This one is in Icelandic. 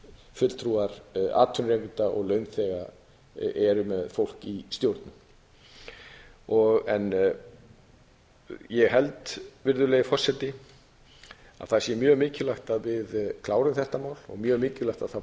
fulltrúar atvinnurekenda og launþega eru með fólk í stjórnum ég held að það sé mjög mikilvægt að við klárum þetta mál og mjög mikilvægt að það